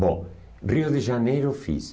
Bom, Rio de Janeiro eu fiz.